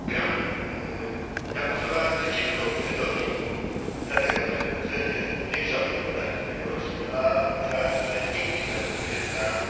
Ja głosowałem przeciwko budżetowi, dlatego że budżet jest zwiększony w porównaniu z ubiegłorocznym, a obiecałem, że nigdy nie zagłosuję za zwiększeniem budżetu.